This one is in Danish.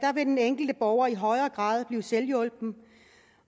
den enkelte borger i højere grad blive selvhjulpen